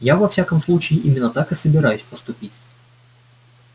я во всяком случае именно так и собираюсь поступить